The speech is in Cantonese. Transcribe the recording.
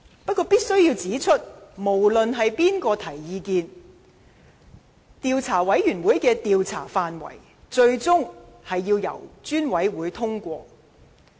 不過，我必須指出，無論意見由誰人提出，專責委員會的調查範圍最終須由專責委員會本身通過。